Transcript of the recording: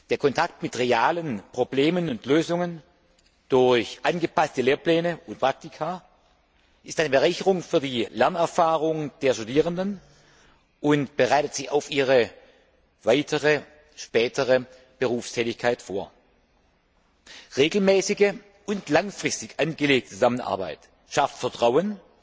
Der Kontakt mit realen Problemen und Lösungen durch angepasste Lehrpläne und Praktika ist eine Bereicherung für die Lernerfahrung der Studierenden und bereitet sie auf ihre spätere Berufstätigkeit vor. Regelmäßige und langfristig angelegte Zusammenarbeit schafft Vertrauen